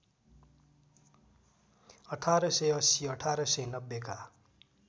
१८८० १८९० का